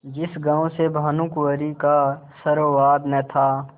जिस गॉँव से भानुकुँवरि का सरोवार न था